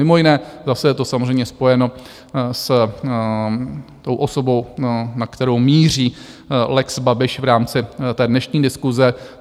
Mimo jiné zase je to samozřejmě spojeno s tou osobou, na kterou míří lex Babiš v rámci té dnešní diskuse.